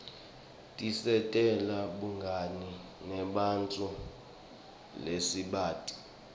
tisentela bungani nebanntfu lesingabati